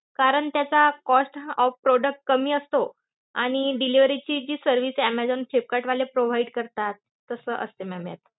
कारण त्याचा cost of product कमी असतो. आणि delivery ची जी service आहे ऍमेझॉन, फ्लिपकार्टवाले provide करता, तस असत ma'am यात.